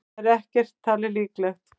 Það er ekki talið líklegt.